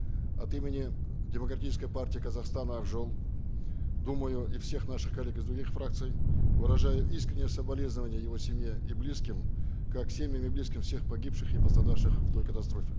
от имени демократической партии казахстана ак жол думаю и всех наших коллег из других фракций выражаю искреннее соболезнование его семье и близким как семьям и близким всех погибших и пострадавших в той катастрофе